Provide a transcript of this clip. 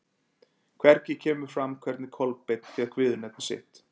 Hvergi kemur fram hvernig Kolbeinn fékk viðurnefni sitt.